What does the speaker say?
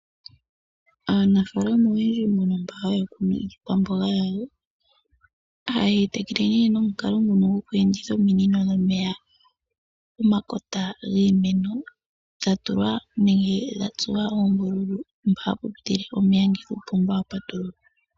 Aanafaalama mba haya kunu iikwamboga yawo oha yeyi tekele nomilalo dhokweenditha ominino dhomeya pomakota giimeno gatsuwa oombulu mpa hapu pitile omeya ngele kuupomba kwa patululwa